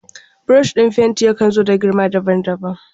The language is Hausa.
Burushin fenti yakan zo da girma daban daban.